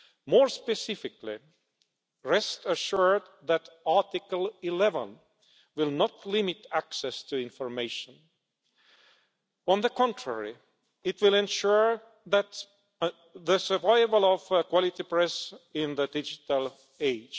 More specifically, rest assured that Article 11 will not limit access to information. On the contrary, it will ensure the survival of a quality press in the digital age.